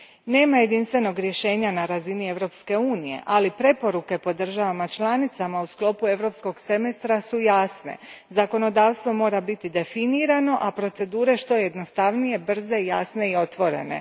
Nema jedinstvenog rješenja na razini Europske unije, ali preporuke po državama članicama u sklopu Europskog semestra su jasne zakonodavstvo mora biti definirano a procedure što jednostavnije, brze, jasne i otvorene.